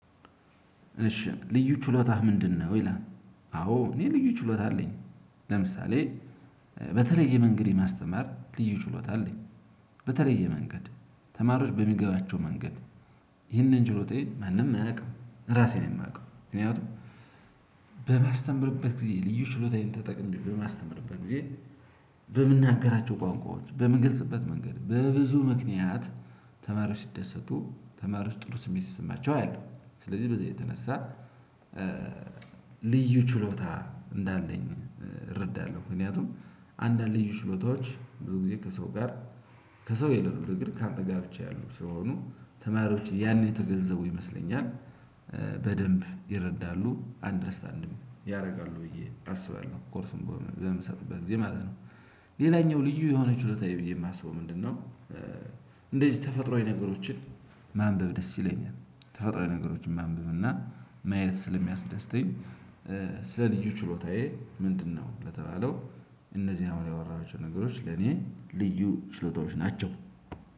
እሺ ልዩ ችሎታህ ምንድነው? ይላል አዎ እኔ ልዩ ችሎታ አለኝ። ለምሳሌ በተለየ መንገድ የማስተማር ልዬ ችሎታ አለኝ። በተለየ መንገድ ተማሪዎች በሚገባቸው መንገድ። ይህንን ችሎታዬን ማንም አያውቅም ራሴ ነው ማውቀው። ምክንያቱም በማስተምርበት ጊዜ ልዩ ችሎታዬን ተጠቅሜ በማስተምርበት ጊዜ በምናገራቸው ቋንቋዎች በምንገልጽበት መንገድ በብዙ ምክንያት ተማሪዎች ሲደሰቱ ተማሪዎች ጥሩ ስሜት ሲሰማቸው አያለው ስለዚህ በዚህ የተነሳ ልዩ ችሎታ እንዳለኝ እረዳለሁ ምክንያቱም አንዳንድ ልዩ ችሎታዎች ብዙ ጊዜ ከሰው ጋር ከሰው የለሉ ነገር ግን ካንተ ጋር ብቻ ያሉት ስለሆኑ ተማሪዎች ያኔ የተገነዘቡ ይመስለኛል። በደንብ ይረዳሉ አንደርስታንድም ያደርጋሉ ብዬ አስባለሁ ኮርሱን በምሰጥበት ጊዜ ማለት ነው። ሌላኛው ልዩ የሆነች ውለታዬ ብዬ የማስበው ምንድነው? እንደዚህ ተፈጥሮአዊ ነገሮችን ማንበብ ደስ ይለኛል ተፈጥሮአዊ ነገሮችን ማንበብ እና ማየት ስለሚያስደስተኝ። ስለ ልዩ ችሎታዬ ምንድነው? ለተባለው እነዚህ አሁን ያወራዋች ነገሮች ለእኔ ልዬ ችሎታዎች ናቸው።